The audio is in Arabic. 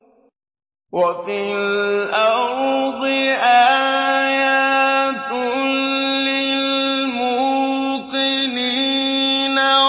وَفِي الْأَرْضِ آيَاتٌ لِّلْمُوقِنِينَ